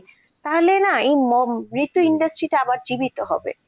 তাহলে না এই যেহেতু industry তে আবার জীবিত হবে.